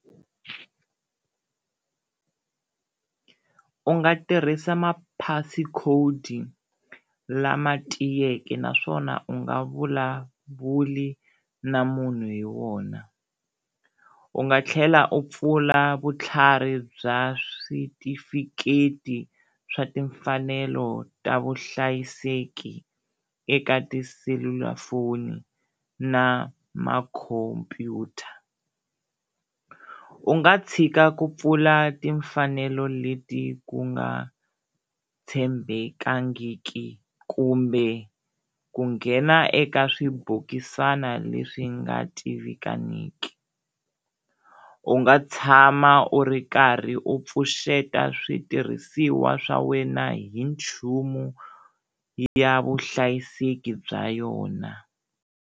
U nga tirhisa maphiasi khodi lama tiyeke naswona u nga vulavuli na munhu hi wona, u nga tlhela u pfula vutlhari bya switifiketi swa timfanelo ta vuhlayiseki eka tiselulafoni na makhompyuta, u nga tshika ku pfula timfanelo leti ku nga tshembekangiki kumbe ku nghena eka swibokisana leswi nga tivikaniki. U nga tshama u ri karhi u pfuxeta switirhisiwa swa wena hi nchumu ya vuhlayiseki bya yona.